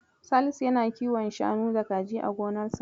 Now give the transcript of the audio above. Salisu yana kiwon shanu da kaji a gonarsa.